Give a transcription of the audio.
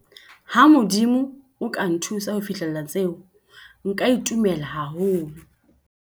Ha Modimo o ka nthusa ho fihlella tseo, nka itumela haholo.